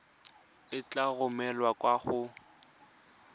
e tla romelwa kwa go